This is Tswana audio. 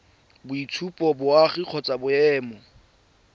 boitshupo ba boagi kgotsa boemo